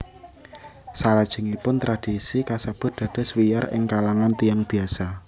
Salajengipun tradisi kasebut dados wiyar ing kalangan tiyang biasa